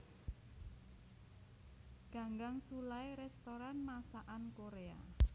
Ganggang Sullai restoran masakan Korea